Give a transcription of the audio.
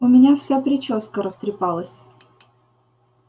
у меня вся причёска растрепалась